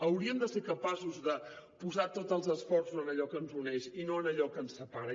hauríem de ser capaços de posar tots els esforços en allò que ens uneix i no en allò que ens separa